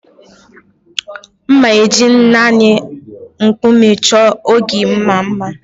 M ga-eji naanị Nkume chọọ ogige m mma